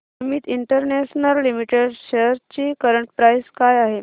Amit international limited shares ची current price काय आहे